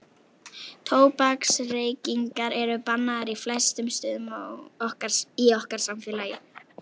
tóbaksreykingar eru bannaðar á flestum stöðum í okkar samfélagi